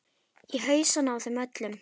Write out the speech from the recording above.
Í hausana á þeim öllum.